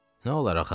Nə olar axı?